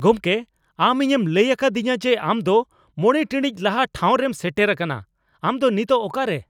ᱜᱚᱢᱠᱮ, ᱟᱢ ᱤᱧᱮᱢ ᱞᱟᱹᱭ ᱟᱠᱟᱫᱤᱧᱟ ᱡᱮ ᱟᱢ ᱫᱚ ᱕ ᱴᱤᱲᱤᱡ ᱞᱟᱦᱟ ᱴᱷᱟᱸᱣᱨᱮᱢ ᱥᱮᱴᱮᱨ ᱟᱠᱟᱱᱟ ᱾ ᱟᱢ ᱫᱚ ᱱᱤᱛᱚᱜ ᱚᱠᱟᱨᱮ ?